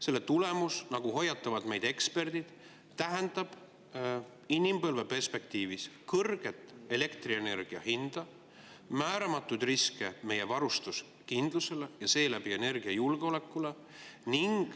Selle tulemus, nagu hoiatavad meid eksperdid, tähendab inimpõlve perspektiivis kõrget elektrienergia hinda ning määramatuid riske meie varustuskindlusele ja seeläbi energiajulgeolekule.